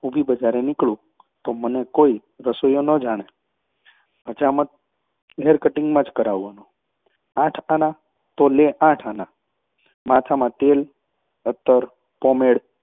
નીકળું તો મને કોઈ રસોઈયો ન જાણે. હજામત તો હેરકટીંગ માં જ કરાવવાનો, આઠ આના, તો લે આઠ આના. ને માથામાં તેલ, અત્તર.